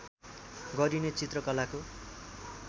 गरिने चित्रकलाको